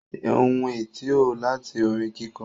Ohun ẹ̀ tí ó láti orin kíkọ